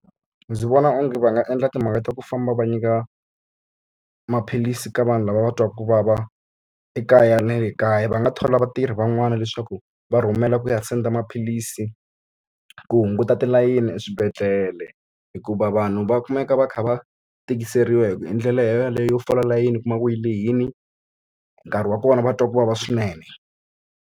Ndzi vona onge va nga endla timhaka ta ku famba va nyika maphilisi ka vanhu lava va twaka ku vava ekaya na le kaya. Va nga thola vatirhi van'wana leswaku va rhumela ku ya send-a maphilisi ku hunguta tilayini eswibedhlele. Hikuva vanhu va kumeka va kha va tikiseriwe hi ndlela yaleyo fola layini u kuma ku yi lehile, nkarhi wa kona va twa ku vava swinene.